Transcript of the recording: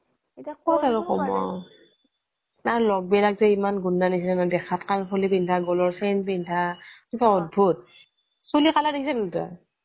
ক'ত আৰু ক'ব তাৰ লগ বিলাক যে ইমান গুণ্ডা নিচিনা ইমান দেখাত কানফুলি পিন্ধা গলৰ chain পিন্ধা কিবা অদ্ভুত চুলি colour দেখিছ' নাই তই